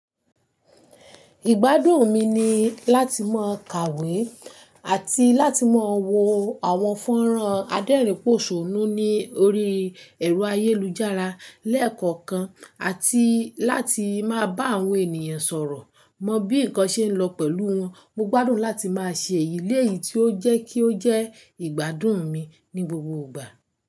Ìgbádùn mi ni láti máa kàwé àti láti máa wo àwọn fọ́nrán adérìn pòṣónú ní orí ẹ̀rọ ayélujára lẹ́ẹ̀kọ̀kan àti láti máa bá àwọn ènìyàn sọ̀rọ̀. Mọ bí nǹkan ṣe ń lọ pẹ̀lú wọn. Mo gbádùn láti máa ṣe èyí léyìí tí ó jẹ́ kí ó jẹ́ ìgbádùn mi ní gbogbo ìgbà.